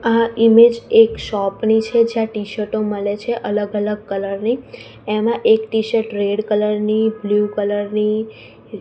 આ ઇમેજ એક શોપ ની છે જ્યાં ટીશર્ટો મલે છે અલગ અલગ કલર ની એમાં એક ટીશર્ટ રેડ કલર ની બ્લૂ કલર ની--